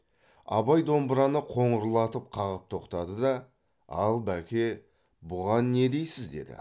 абай домбыраны қоңырлатып қағып тоқтады да ал бәке бұған не дейсіз деді